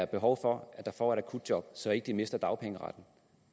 behov for at få et akutjob så de ikke mister dagpengeretten